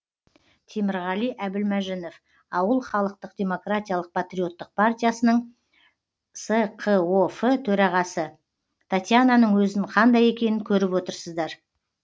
темірғали әбілмәжінов ауыл халықтық демократиялық патриоттық партиясының сқоф төрағасы татьянаның өзін қандай екенін көріп отырсыздар